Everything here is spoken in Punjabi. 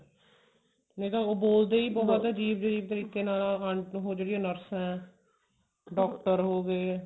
ਨਹੀਂ ਤਾਂ ਉਹ ਬੋਲਦੇ ਹੀ ਬਹੁਤ ਅਜੀਬ ਅਜੀਬ ਤਰੀਕੇ ਨਾਲ ਆ ਉਹ ਜਿਹੜੀਆਂ nurse ਹੈ doctor ਹੋਗੇ